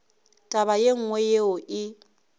taba ye nngwe yeo e